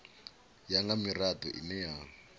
ya nga mirado ine ya